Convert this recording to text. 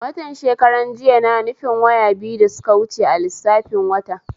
Watan shekran jiya na nufin waya biyu da suka wuce a lissafin wata